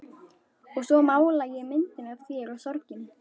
Og svo mála ég myndina af þér og sorginni.